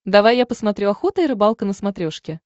давай я посмотрю охота и рыбалка на смотрешке